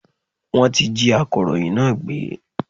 Wọn tí jí akọ̀rọ̀yìn náà gbé.